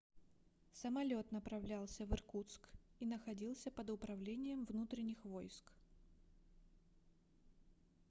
самолёт направлялся в иркутск и находился под управлением внутренних войск